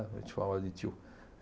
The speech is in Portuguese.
A gente chamava de tio.